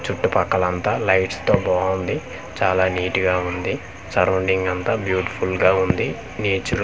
చుట్టుపక్కలంతా lights తో బావుంది చాలా నీట్ గా వుంది సరౌండింగ్ అంతా బ్యూటిఫుల్ గా వుంది న్యూచురు--